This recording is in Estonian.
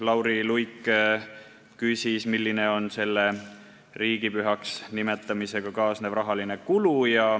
Lauri Luik küsis, milline on riigipühaks nimetamisega kaasnev rahaline kulu.